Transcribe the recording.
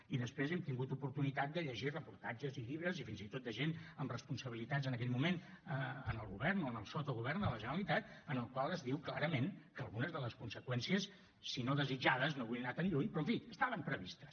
i després hem tingut oportunitat de llegir reportatges i llibres i fins i tot de gent amb responsabilitats en aquell moment en el govern o en el sottogovern de la generalitat en els quals es diu clarament que algunes de les conseqüències si no desitjades no vull anar tan lluny però en fi estaven previstes